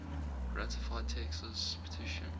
ratified texas petition